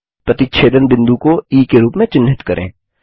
प्रतिच्छेदन बिंदु को ई के रूप में चिन्हित करें